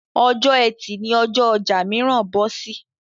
Ọjọ́ Ẹtì ni ọjọ́ ọjà mìíràn bọ́ sí.